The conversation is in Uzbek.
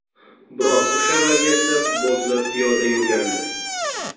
Biroq o‘sha vaziyatda futbolchilar piyoda yurgandi.